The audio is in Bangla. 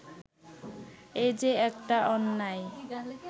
এই যে একটা অন্যায়